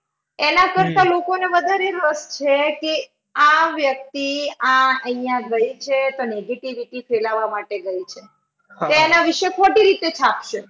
એના કરતા લોકોને વધારે રસ છે કે આ વ્યક્તિ આ આહીયા ગઈ છે તો negativity ફેલાવા માટે ગઈ છે. તે એના વિશે ખોટી રીતે છાપશે.